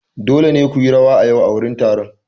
Dole ne ku yi rawa a yau a wurin taron!